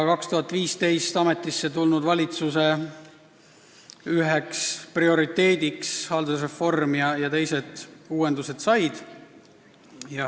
2015. aastal ametisse astunud valitsuse üheks prioriteediks said haldusreform ja teised uuendused.